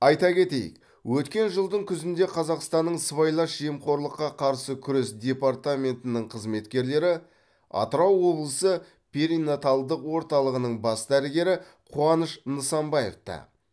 айта кетейік өткен жылдың күзінде қазақстанның сыбайлас жемқорлыққа қарсы күрес департаментінің қызметкерлері атырау облысы перинаталдық орталығының бас дәрігері қуаныш нысанбаевты